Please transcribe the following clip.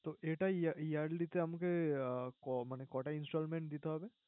তো এটাই year~yearly তে আমাকে আহ ক~মানে কয়টা installments দিতে হবে?